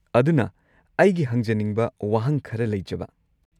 ꯑꯗꯨꯅ, ꯑꯩꯒꯤ ꯍꯪꯖꯅꯤꯡꯕ ꯋꯥꯍꯪ ꯈꯔ ꯂꯩꯖꯕ꯫